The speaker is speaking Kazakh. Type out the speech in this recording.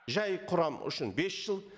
жай құрам үшін бес жыл